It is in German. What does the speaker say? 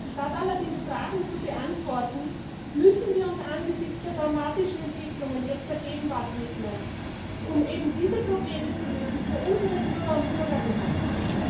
Statt allerdings Fragen zu beantworten, müssen wir uns angesichts der dramatischen Entwicklungen jetzt der Gegenwart widmen, um eben diese Probleme für unsere Bürger und Bürgerinnen zu lösen.